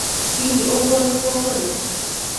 "Hihi ũguo nĩguo kũrĩ?